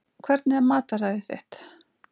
Hvernig er mataræðið þitt?